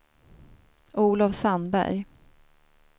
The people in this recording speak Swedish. Olof Sandberg